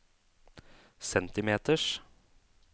centimeters